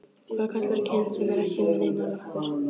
Hvað kallarðu kind sem er ekki með neinar lappir?